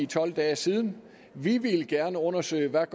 tolv dage siden vi ville gerne undersøge hvad